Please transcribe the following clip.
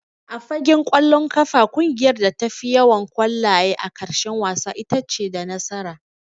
A fagen ƙwallon ƙafa ƙungiyar da ta fi yawan ƙwallaye a ƙarshen wasa itace da nasara.